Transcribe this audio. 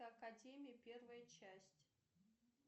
академия первая часть